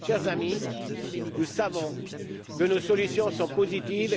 Chers amis, nous savons que nos solutions sont positives